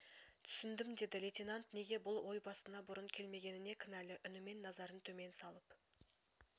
түсіндім деді лейтенант неге бұл ой басына бұрын келмегеніне кінәлі үнімен назарын төмен салып